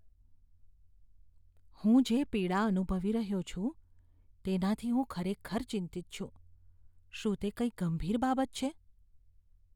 હું જે પીડા અનુભવી રહ્યો છું, તેનાથી હું ખરેખર ચિંતિત છું. શું તે કંઈક ગંભીર બાબત છે?